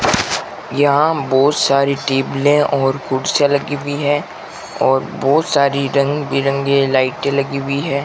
यहां बहुत सारी टेबलें और कुर्सियां लगी हुई है और बहुत सारी रंग बिरंगे लाइटें लगी हुई है।